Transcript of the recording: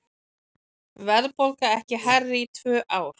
Verðbólga ekki hærri í tvö ár